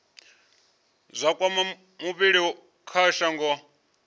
zwa kwama vhulimi kha shango